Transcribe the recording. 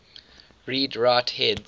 read write heads